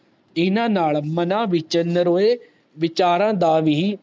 ਇੰਨਾ ਨਾਲ ਮਨਾ ਵਿਚ ਨਰੋਏ ਵਿਚਾਰ ਦਾ